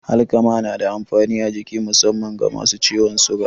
Alkama na da amfani a jiki musamman ga masu ciwon suga.